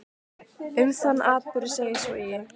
Um þann atburð segir svo í